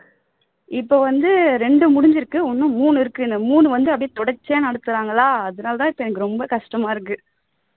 இப்ப வந்து ரெண்டு முடிஞ்சிருக்கு இன்னும் மூனு இருக்கு இந்த மூணு வந்து தொடர்ச்சியா நடத்துறாங்களா அதுனாலதான் இப்போ எனக்கு ரொம்ப கஷ்டமா இருக்கு